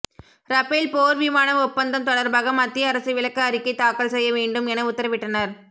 Rafale போர் விமான ஒப்பந்தம் தொடர்பாக மத்திய அரசு விளக்க அறிக்கை தாக்கல் செய்ய வேண்டும் என உத்தரவிட்டனர்